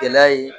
Gɛlɛya ye